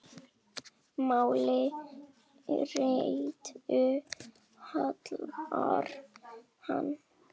Máli réttu hallar hann